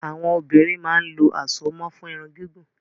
Àwọn obìnrin máa ń lo àsomọ́ fún Irun gígùn